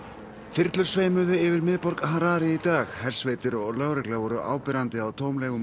þyrlur sveimuðu yfir miðborg Harare í dag hersveitir og lögregla voru áberandi á